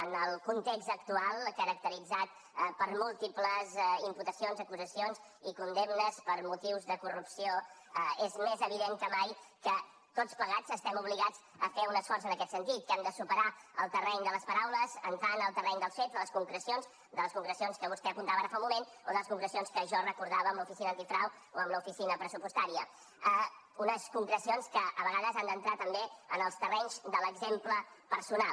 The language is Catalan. en el context actual caracteritzat per múltiples imputacions acusacions i condemnes per motius de corrupció és més evident que mai que tots plegats estem obligats a fer un esforç en aquest sentit que hem de superar el terreny de les paraules entrar en el terreny dels fets de les concrecions de les concrecions que vostè apuntava ara fa un moment o de les concrecions que jo recordava amb l’oficina antifrau o amb l’oficina pressupostària unes concrecions que a vegades han d’entrar també en els terrenys de l’exemple personal